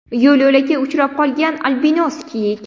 Yo‘l-yo‘lakay uchrab qolgan albinos kiyik.